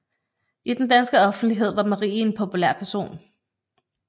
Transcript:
I den danske offentlighed var Marie en populær person